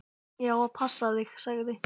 Ég á að passa þig, sagði